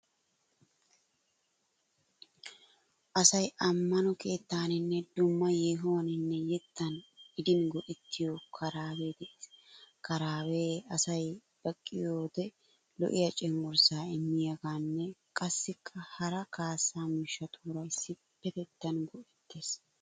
Asay ammano keettaaninne dumma yeehuwaninne yettan gidin go'ettiyo karaabee de'ees. Karabee asay baqqiyode lo'iya cenggurssaa immiyoogan qassikka haraa kaassaa miishshatuura issipetettan go'ettees.